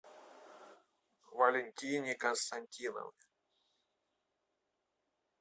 валентине константиновне